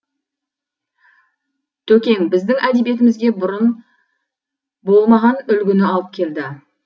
төкең біздің әдебиетімізге бұрын болмаған үлгіні алып келді